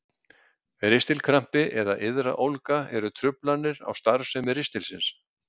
Ristilkrampi eða iðraólga eru truflanir á starfsemi ristilsins.